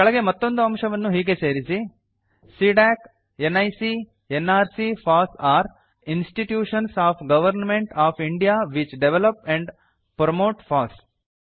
ಕೆಳಗೆ ಮತ್ತೊಂದು ಅಂಶವನ್ನು ಹೀಗೆ ಸೇರಿಸಿ CDAC NIC nrc FOSS are institutions of government of India which develop and promote FOSS